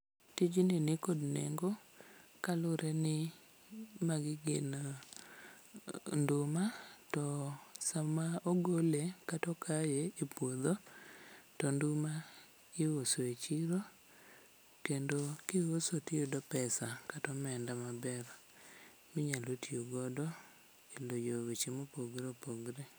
Tijni nikod nengo kaluwre ni magi gin nduma to sama ogole kata okaye e puodho to nduma iuso e chiro kendo kiuso tiyudo pesa kata omenda maber minyalo tiyogodo e loyo weche mopogre opogre.